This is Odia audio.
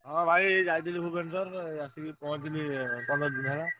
ହଁ ଭାଇ ଯାଇଥିଲି ଭୁବନେଶ୍ବର ଆସିକି ପହଁଞ୍ଚିଲି ପନ୍ଦର ଦିନି ହେଲା।